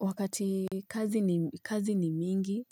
Wakati kazi ni mingi,